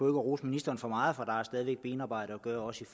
at rose ministeren for meget for der er stadig benarbejde at gøre også